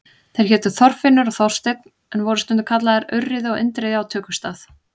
Þeir hétu Þorfinnur og Þorsteinn en voru stundum kallaðir Urriði og Indriði á tökustað.